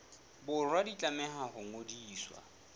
borwa di tlameha ho ngodiswa